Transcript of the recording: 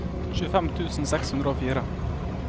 tjuefem tusen seks hundre og fire